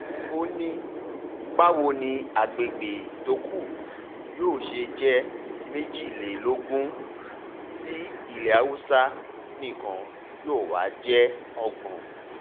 ó ní báwo ni àgbègbè tó kù yóò ṣe jẹ́ méjìlélógún méjìlélógún ti ilẹ̀ haúsá nìkan yóò wáá jẹ́ ọgbọ̀n